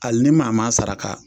Ali ni maa m'a saraka.